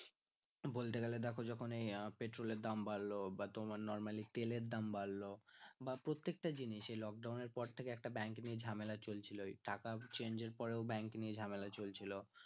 বলতে গেলে দেখো যখন এই পেট্রল এর দাম বাড়ল বা তোমার normally তেলের দাম বাড়ল বা প্রত্যেকটা জিনিস এই lock down এর পর থেকে একটা bank নিয়ে ঝামেলা চলছিল এই টাকা change এর পরে ও bank নিয়ে ঝামেলা চলছিল